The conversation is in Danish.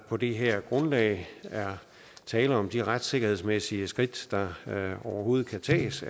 på det her grundlag er tale om at de retssikkerhedsmæssige skridt der overhovedet kan tages